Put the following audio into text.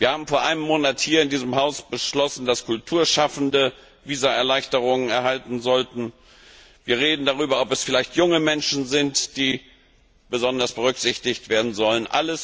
Wir haben vor einem Monat hier im Haus beschlossen, dass Kulturschaffende Visaerleichterung erhalten sollten. Wir reden darüber, ob es vielleicht junge Menschen sind, die besonders berücksichtigt werden sollen.